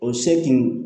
O se kun